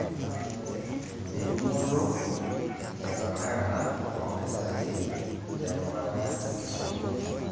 Entumoto etenakata oo mpisai terubata enkisuma.